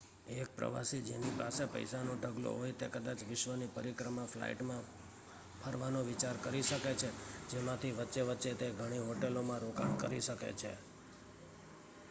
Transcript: એક પ્રવાસી જેની પાસે પૈસાનો ઢગલો હોય તે કદાચ વિશ્વની પરિક્રમા ફ્લાઇટમાં ફરવાનો વિચાર કરી શકે છે જેમાંથી વચ્ચે વચ્ચે તે ઘણી હોટેલોમાં રોકાણ કરી શકે છે